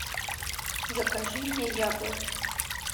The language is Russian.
закажи мне яблоки